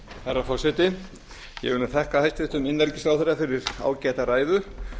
herra forseti ég vil þakka hæstvirtum innanríkisráðherra fyrir ágæta ræðu